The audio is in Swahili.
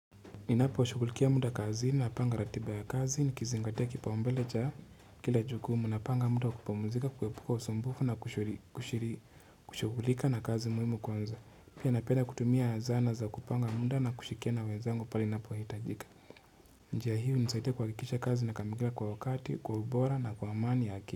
Ninaposhughulikia muda kazi ni napanga ratiba ya kazi nikizingatia kipaumbele cha kila jukumu napanga muda wa kupumuzika kuepuka usumbufu na kushughulika na kazi muhimu kwanza pia napenda kutumia zana za kupanga muda na kushikia na wenzangu pale ninapohitajika njia hii hunisaidia kuhakikisha kazi inakamilika kwa wakati kwa ubora na kwa amani yake.